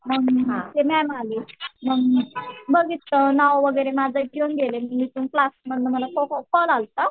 मग ते न्या म्हणाली मग बघितलं नाव वगैरे माझं घेऊन गेले क्लास मधून मला कॉल आलता